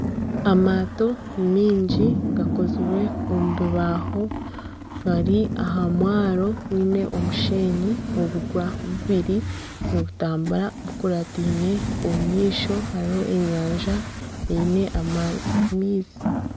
Amaato maingi gakozirwe omu bibaho gari aha mwaro gwiine omushenyi obubwa bubiri nibutambura bukurataine omu maisho hariho enyanja eine amaizi.